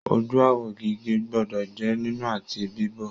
Ojú awọ gígé gbọdọ jẹ nínú àti bibo.